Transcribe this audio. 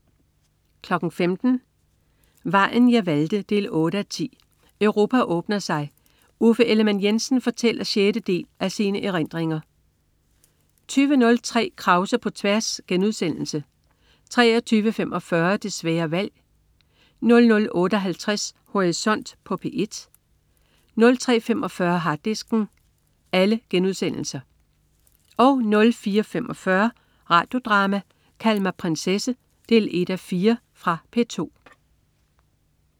15.00 Vejen jeg valgte 8:10. Europa åbner sig. Uffe Ellemann-Jensen fortæller sjette del af sine erindringer 20.03 Krause på tværs* 23.45 Det svære valg* 00.58 Horisont på P1* 03.45 Harddisken* 04.45 Radio Drama: Kald mig prinsesse 1:4. Fra P2